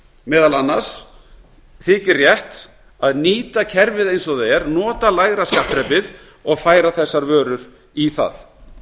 meðal annars þykir rétt að nýta kerfið eins og það er nota lægra skattþrepið og færa þessar vörur í það